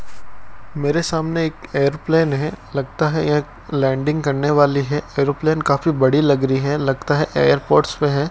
मेरे सामने एक एयरप्लेन है लगता है यह लैंडिंग करने वाली है एरोप्लेन काफी बड़ी लग रही है लगता है एयरपोर्ट्स पे है।